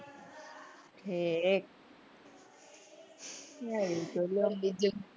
હે